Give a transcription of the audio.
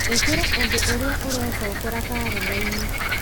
ĩkĩra ũndũ ũrĩa ũrecokera karenda-inĩ